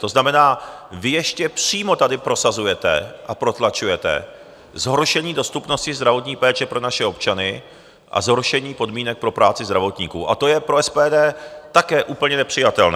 To znamená, vy ještě přímo tady prosazujete a protlačujete zhoršení dostupnosti zdravotní péče pro naše občany a zhoršení podmínek pro práci zdravotníků a to je pro SPD také úplně nepřijatelné.